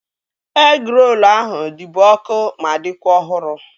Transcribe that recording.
Egịrolu ahụ dịbu ọkụ ma dịkwa ọhụrụ